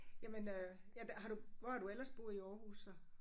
Jamen øh ja det har du hvor har du ellers boet i Aarhus så?